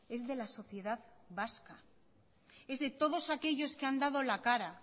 es de la sociedad vasca es de todos aquellos que han dado la cara